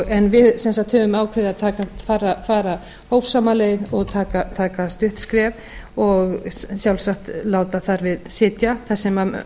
rannsóknum en við höfum ákveðið sem sagt að fara hófsama leið og taka stutt skref og sjálfsagt láta þar við sitja þar sem